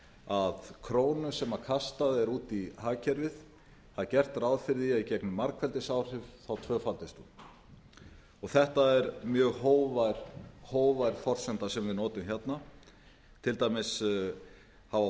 að krónu sem kastað er út í hagkerfið það er gert ráð fyrir því að í gegnum margfeldisáhrif tvöfaldist hún þetta er mjög hógvær forsenda sem við notum hérna til dæmis hafa